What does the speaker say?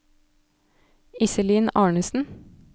Iselin Arnesen